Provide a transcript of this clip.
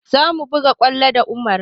Za mu buga kwallo da Umar